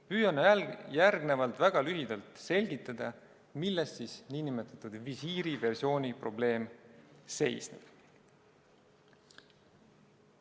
Püüan järgnevalt väga lühidalt selgitada, milles siis nn visiiriversiooni probleem seisneb.